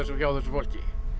hjá þessu fólki